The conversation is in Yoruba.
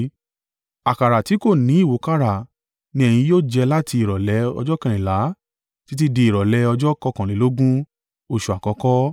Àkàrà ti kò ni ìwúkàrà ni ẹ̀yin yóò jẹ láti ìrọ̀lẹ́ ọjọ́ kẹrìnlá títí di ìrọ̀lẹ́ ọjọ́ kọ̀kànlélógún oṣù àkọ́kọ́.